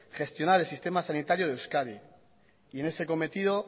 gestionar el sistema sanitario de euskadi y enese cometido